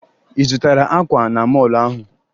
Ị zụtara akwa na mọọlụ ahụ?